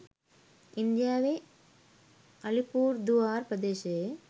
ඉන්දියාවේ අලිපුර්දුවාර් ප්‍රදේශයේ